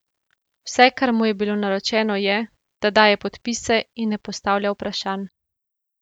Vse, kar mu je bilo naročeno, je, da daje podpise in ne postavlja vprašanj.